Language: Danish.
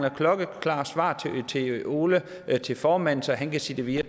et klokkeklart svar til ole formanden så han kan sige det videre